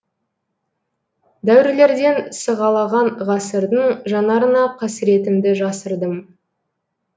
дәуірлерден сығалаған ғасырдың жанарына қасіретімді жасырдым